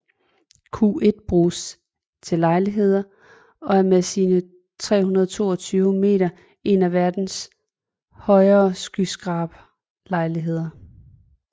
Q1 bruges til lejligheder og er med sine 322 meter en af verdens højere skyskraberlejligheder